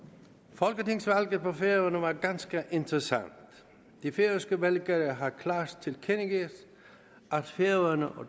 folketingsvalget på færøerne var ganske interessant de færøske vælgere har klart tilkendegivet at færøerne og